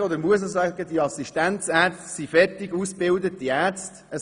Man darf und muss auch sagen, dass die Assistenzärzte fertig ausgebildete Ärzte sind.